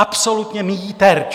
Absolutně míjí terč!